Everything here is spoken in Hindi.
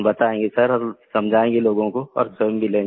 बताएँगे सर और समझायेंगे लोगों को और स्वयं भी लेंगे